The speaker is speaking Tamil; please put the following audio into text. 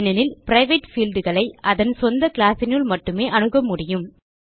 ஏனெனில் பிரைவேட் fieldகளை அதன் சொந்த கிளாஸ் னுள் மட்டுமே அணுக முடியும்